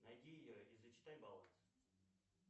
найди и зачитай баланс